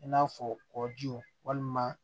I n'a fɔ kɔji walima